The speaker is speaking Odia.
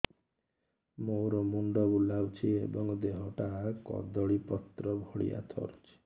ମୋର ମୁଣ୍ଡ ବୁଲାଉଛି ଏବଂ ଦେହଟା କଦଳୀପତ୍ର ଭଳିଆ ଥରୁଛି